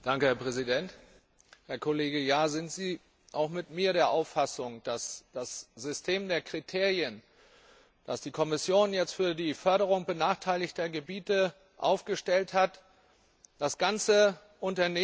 Herr Kollege Jahr, sind Sie auch mit mir der Auffassung, dass das System der Kriterien, das die Kommission jetzt für die Förderung benachteiligter Gebiete aufgestellt hat, das ganze Unternehmen auf den Kopf stellt?